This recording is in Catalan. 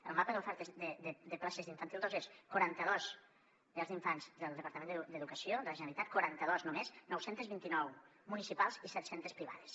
el mapa d’oferta de places d’infantil dos és quaranta dos llars d’infants del departament d’educació de la generalitat quaranta dos només nou cents i vint nou municipals i set cents privades